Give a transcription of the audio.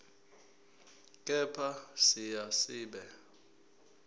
kepha siya siba